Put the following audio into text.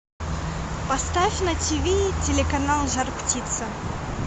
поставь на тв телеканал жар птица